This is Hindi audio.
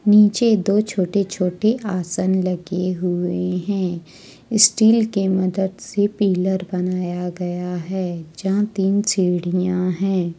नीचे दो छोटे छोटे आसन लगे हुए है स्टील के मदद से पीलर बनाया गया है जहां तीन सीढ़ियां है।